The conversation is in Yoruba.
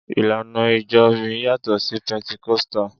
Ìlànà ìjọ mi yàtọ̀ sí Pẹntikọ́sítà.